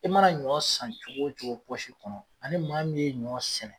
I mana ɲɔ san cogo cogo pɔsi kɔnɔ ani maa min ye ɲɔ sɛnɛ